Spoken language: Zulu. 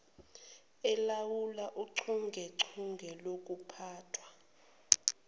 elawula uchungechunge lokuphathwa